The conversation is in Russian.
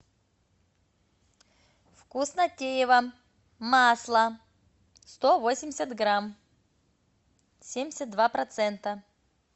вкуснотеево масло сто восемьдесят грамм семьдесят два процента